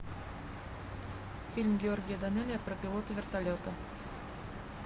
фильм георгия данелия про пилота вертолета